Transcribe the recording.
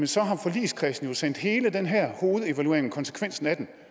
så har forligskredsen jo sendt hele den her hovedevaluering og konsekvenserne af den